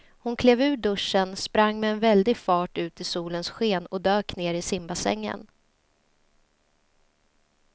Hon klev ur duschen, sprang med väldig fart ut i solens sken och dök ner i simbassängen.